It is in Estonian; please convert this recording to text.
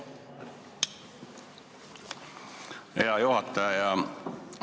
Hea juhataja!